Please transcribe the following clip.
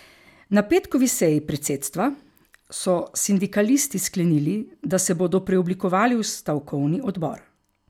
Na petkovi seji predsedstva so sindikalisti sklenili, da se bodo preoblikovali v stavkovni odbor.